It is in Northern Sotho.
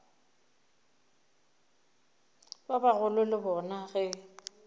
ba bagolo le bona ge